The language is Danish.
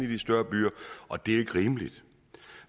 de større byer og det er jo ikke rimeligt